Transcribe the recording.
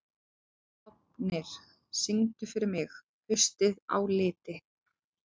Fáfnir, syngdu fyrir mig „Haustið á liti“.